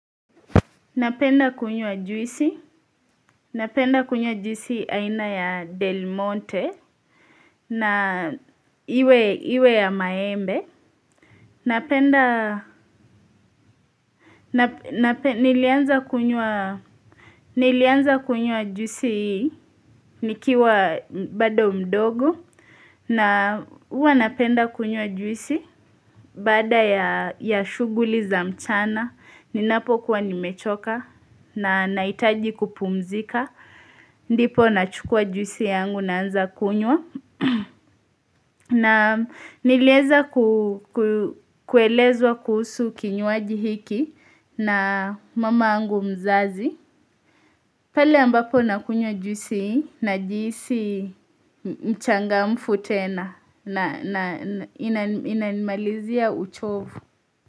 Napenda kunywa juisi, napenda kunyua juisi aina ya Del Monte na iwe ya maembe. Napenda, nilianza kunywa juisi nikiwa bada mdogo na huwa napenda kunywa juisi badaa ya shuguli za mchana. Ninapo kuwa nimechoka na nahitaji kupumzika ndipo nachukua juisi yangu naanza kunywa na nilieza kuelezwa kuhusu kinywaji hiki na mama yangu mzazi pale ambapo nakunywa juisi najihisi mchangamfu tena na inanimalizia uchovu.